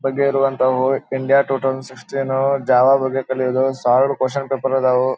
ಇರುವಂತವು India total sixteen Java ಬಗ್ಗೆ ಕಲಿಯೋದು ಸಾವಿರ ಕ್ವೆಶ್ಚನ್ ಪೇಪರ್ ಅದಾವು.